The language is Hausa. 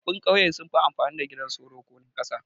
Tsofaffin kauye sunfi amfani da gidan soro ko na kasa